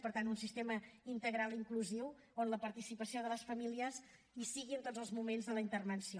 per tant un sistema integral i inclusiu on la participació de les famílies sigui en tots els moments de la intervenció